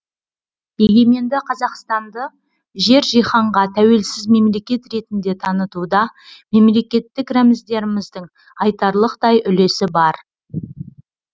егеменді қазақстанды жер жиһанға тәуелсіз мемлекет ретінде танытуда мемлекеттік рәміздеріміздің айтарлықтай үлесі бар